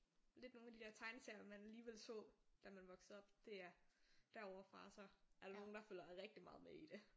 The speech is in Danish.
Lidt nogle af de der tegneserier man alligevel så da man voksede op det er derovre fra så er der nogle der følger rigtig meget med i det